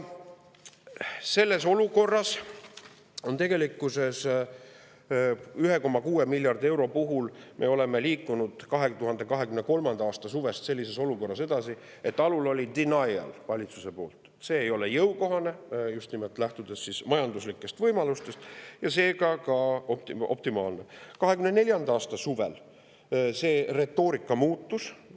Tegelikkuses me oleme selle 1,6 miljardi euro puhul liikunud 2023. aasta suvest edasi nii, et kui alul oli valitsuse poolt denial, et see ei ole jõukohane just nimelt majanduslikest võimalustest lähtudes ega seega ka optimaalne, siis 2024. aasta suvel retoorika muutus.